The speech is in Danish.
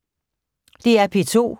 DR P2